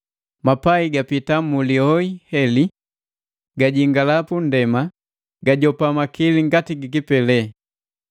Mapai gapita mu lioi heli, gajingala pa ndema gajopa makili ngati gi kipeleli.